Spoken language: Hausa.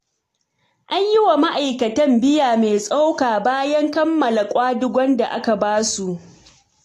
An yi wa ma'aikatan biya mai tsoka bayan kammala ƙwadagon da aka ba su.